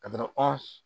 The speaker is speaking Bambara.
Ka taa an